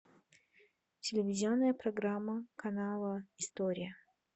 телевизионная программа канала история